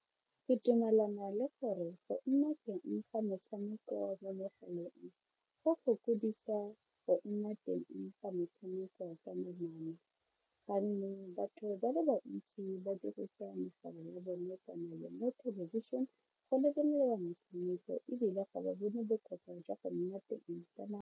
Ke dumelana le gore go nna teng ga metshameko mo megaleng go go nna teng ga metshameko batho ba le bantsi ba dirisa megala ya bone o lebelela metshameko ebile ga ba bone bokowa jwa go nna teng .